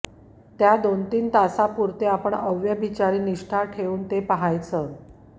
त्या दोन तीन तासापुरते आपण अव्यभिचारी निष्ठा ठेवून ते पहायचं